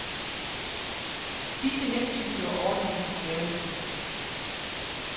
Disse hensyn gjorde ordningen besværlig. punktum